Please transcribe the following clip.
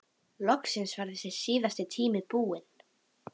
Var það kallað norðurhús eða kamers